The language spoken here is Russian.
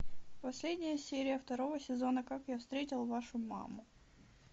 последняя серия второго сезона как я встретил вашу маму